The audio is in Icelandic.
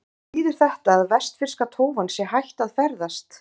En þýðir þetta að vestfirska tófan sé hætt að ferðast?